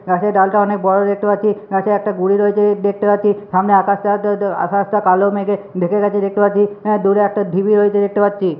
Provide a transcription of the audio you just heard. গাছের ডালটা অনেক বড় দেখতে পাচ্ছি গাছে একটা গুড়ি রয়েছে দেখতে পাচ্ছি সামনে আকাশ টা টা আকাশটা কালো মেঘে ঢেকে গেছে দেখতে পাচ্ছি এ দূরে একটা ঢিবি রয়েছে দেখতে পাচ্ছি।